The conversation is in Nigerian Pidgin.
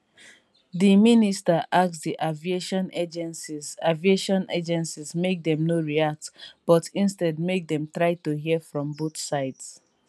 i never see her for years then tonight she knock my door.